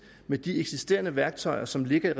med de eksisterende værktøjer som ligger